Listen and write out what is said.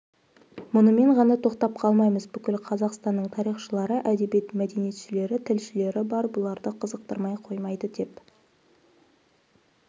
мұнымен ғана тоқтап қалмаймыз бүкіл қазақстанның тарихшылары әдебиет мәдениетшілері тілшілері бар бұларды қызықтырмай қоймайды деп